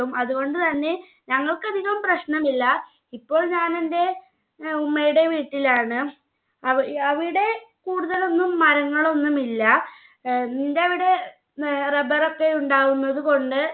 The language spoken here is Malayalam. അതുകൊണ്ട് തന്നെ ഞങ്ങൾക്ക് അധികം പ്രശ്നമില്ല ഇപ്പോൾ ഞാൻ എന്റെ ഉം ഉമ്മയുടെ വീട്ടിലാണ് ആവി അവിടെ കൂടുതലൊന്നും മാറ്റങ്ങളൊന്നും ഇല്ല ഏർ നിന്റെ അവിടെ ഏർ rubber ഒക്കെ ഉണ്ടാവുന്നത് കൊണ്ട്